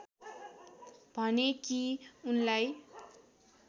भने कि उनलाई